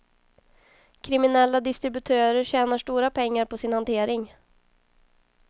Kriminella distributörer tjänar stora pengar på sin hantering.